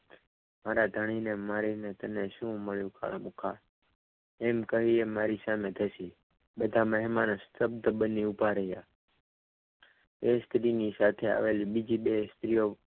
મારા ધણીને મારીને તને શું મળ્યું કાળમુખા એમ કહીને એ મારી સામે ધસી બધા મહેમાન શબ્દ બનીને ઊભા રહ્યા એ સ્ત્રીની સાથે આવેલી બીજી બે સ્ત્રીઓ